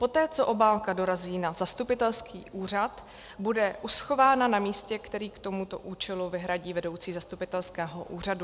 Poté co obálka dorazí na zastupitelský úřad, bude uschována na místě, které k tomuto účelu vyhradí vedoucí zastupitelského úřadu.